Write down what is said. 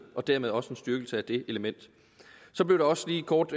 og dermed også en styrkelse af det element så blev der også lige kort